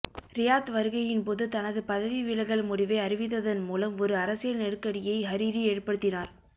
Riyadh வருகையின்போது தனது பதவிவிலகல் முடிவை அறிவித்ததன்மூலம் ஒரு அரசியல் நெருக்கடியை ஹரிரி ஏற்படுத்தினார்